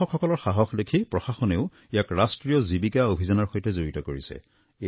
কৃষকসকলৰ সাহস দেখি প্ৰশাসনেও ইয়াক ৰাষ্ট্ৰীয় জীৱিকা অভিযানৰ সৈতে জড়িত কৰিছে